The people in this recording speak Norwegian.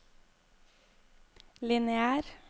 lineær